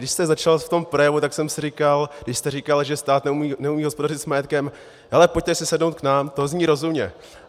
Když jste začal v tom projevu, tak jsem si říkal, když jste říkal, že stát neumí hospodařit s majetkem: hele, pojďte si sednout k nám, to zní rozumně.